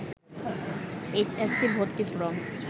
H S C ভর্তি form